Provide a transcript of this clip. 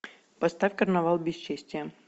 поставь карнавал бесчестия